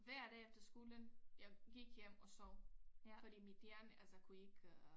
Hver dag efter skolen jeg gik hjem og sov fordi mit hjerne altså kunne ikke øh